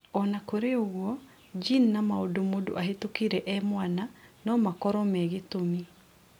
Ona kũrĩ ũguo gene na maũndũ mũndũ ahĩtũkĩire e mwana no makoro me gĩtũmi.